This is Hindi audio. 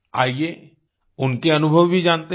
आइये उनके अनुभव भी जानते हैं